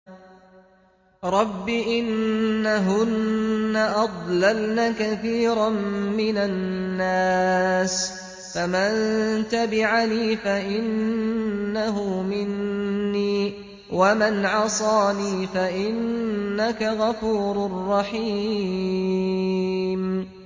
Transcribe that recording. رَبِّ إِنَّهُنَّ أَضْلَلْنَ كَثِيرًا مِّنَ النَّاسِ ۖ فَمَن تَبِعَنِي فَإِنَّهُ مِنِّي ۖ وَمَنْ عَصَانِي فَإِنَّكَ غَفُورٌ رَّحِيمٌ